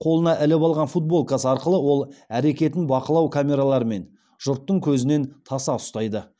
қолына іліп алған футболкасы арқылы ол әрекетін бақылау камералары мен жұрттың көзінен таса ұстайды